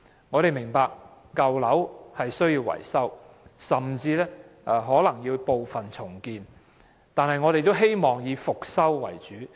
我們明白舊樓需要維修，甚至可能需要局部重建，但我們仍希望以復修為主。